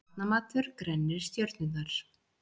Barnamatur grennir stjörnurnar